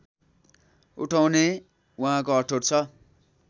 उठाउने उहाँको अठोट छ